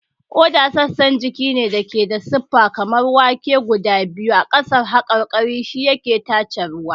Ƙoda sassan jiki ne da ke da siffa kamar wake guda biyu a ƙasar haƙarƙari, shi yake tace ruwa.